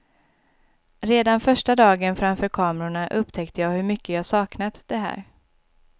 Redan första dagen framför kamerorna upptäckte jag hur mycket jag saknat det här.